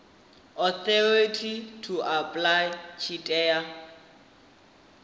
authority to apply tshi tea